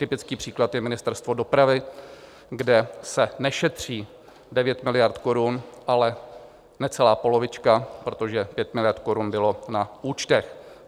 Typický příklad je Ministerstvo dopravy, kde se nešetří 9 miliard korun, ale necelá polovička, protože 5 miliard korun bylo na účtech.